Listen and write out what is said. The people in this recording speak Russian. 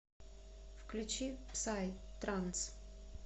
включи псай транс